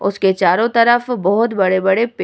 उसके चारो तरफ बहुत बड़े-बड़े पेड़ --